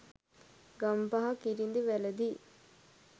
Gampaha කිරිඳිවැලදී